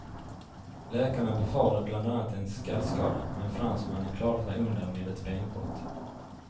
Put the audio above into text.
Läkarna befarade bland annat en skallskada, men fransmannen klarade sig undan med ett benbrott.